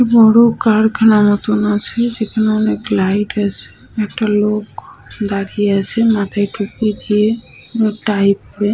বড়ো কারখানার মতোন আছে যেখানে অনেক লাইট আছে। একটা লোক দাঁড়িয়ে আছে। মাথায় টুপি দিয়ে এবং টাই পরে।